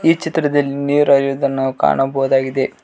ಈ ಚಿತ್ರದಲ್ಲಿ ನೀರು ಹರಿಯುವುದನ್ನು ನಾವು ಕಾಣಬಹುದಾಗಿದೆ.